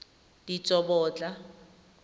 ditsobotla